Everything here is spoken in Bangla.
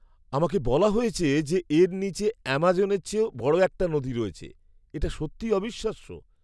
আমাকে বলা হয়েছে যে এর নীচে অ্যামাজনের চেয়েও বড় একটা নদী রয়েছে। এটা সত্যিই অবিশ্বাস্য!